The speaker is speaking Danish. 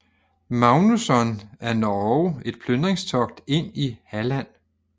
Magnusson af Norge et plyndringstogt ind i Halland